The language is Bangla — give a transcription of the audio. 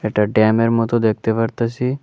একটা ড্যামের মতো দেখতে পারতাসি।